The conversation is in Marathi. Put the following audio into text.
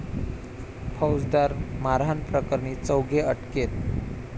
फौजदार मारहाणप्रकरणी चौघे अटकेत